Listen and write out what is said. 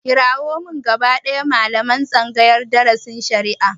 Kirawo min gaba ɗaya malaman tsangayar darasin shari'a!